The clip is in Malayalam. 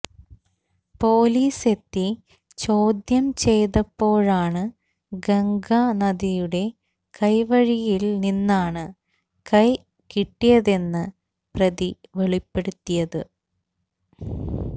പോലീസെത്തി ചോദ്യംചെയ്തപ്പോഴാണ് ഗംഗ നദിയുടെ കൈവഴിയില്നിന്നാണ് കൈ കിട്ടിയതെന്ന് പ്രതി വെളിപ്പെടുത്തിയത്